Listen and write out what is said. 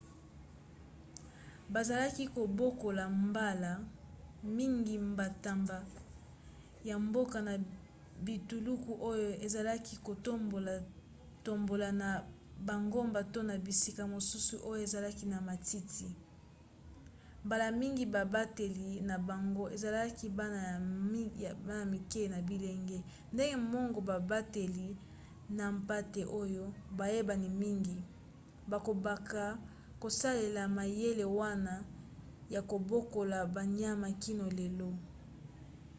bazalaki kobokola mbala mingi bantaba ya mboka na bituluku oyo ezalaki kotambolatambola na bangomba to na bisika mosusu oyo ezalaki na matiti mbala mingi babateli na bango ezalaki bana ya mike to bilenge ndenge moko na babateli na mpate oyo bayebani mingi. bakobaka kosalela mayele wana ya kobokola banyama kino lelo